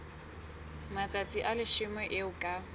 matsatsi a leshome eo ka